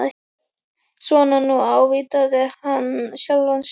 Svona nú, ávítaði hann sjálfan sig.